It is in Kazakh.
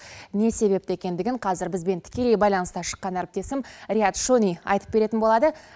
не себепті екендігін қазір бізбен тікелей байланысқа шыққан әріптесім рияд шони айтып беретін болады